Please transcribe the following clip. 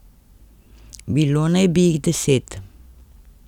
Bilo naj bi jih deset.